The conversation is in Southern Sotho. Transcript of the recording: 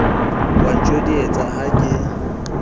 o a ntjodietsa ha ke